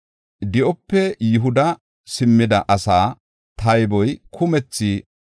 Di7ope Yihuda simmida asaa tayboy kumethi 42,360.